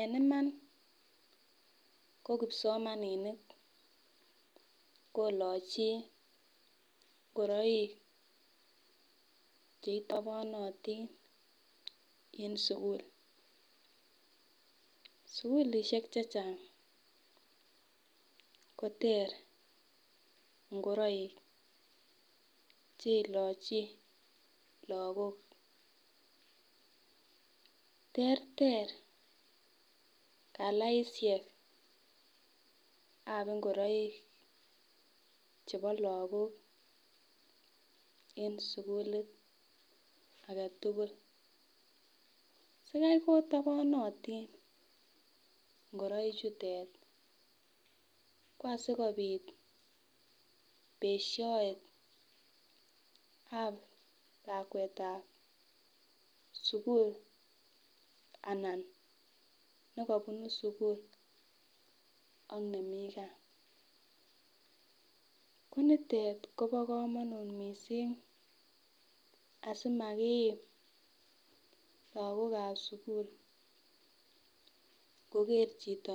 En Iman ko kipsomaninik kolochi ingoroik cheitobonotin en sukul sukulishek chechang koter ingoroik cheilochi lokok teeter kalaishej ab ingoroik chebo Lokok en sukulit agetutuk sikai kotobonotin ngoroik chutet ko asikopit beshoet ab lakwetab sukul anan nekobunu sukul ak nemii gaa ki nitet Kobo komonut missing asimakiim lokokab sukul nkoger chito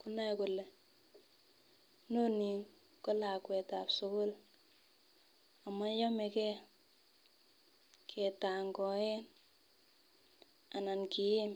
konoe kole momii ko lakwetab sukul amoyomegee ketangoen anan kiim.